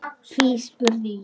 Hví, spurði ég?